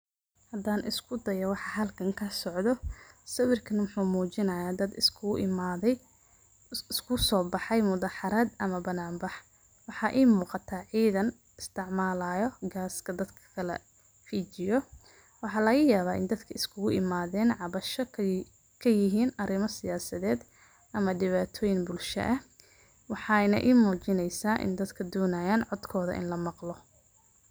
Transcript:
Hadan iskudayo wxa halkan kasocdo, sawirkan wxu mujinaya dad isku imade, iskusobaxan mudaharad ama banan bax wxa I muqata cidan isticmalayo gas dadka kalafijiyo mxa lagayaba dadka iskuimaden cabasho kayihin arima siyasaded ama dipatoyin bulsha, wxayna I mujineysa indadka donayan in dadka lamaqlo.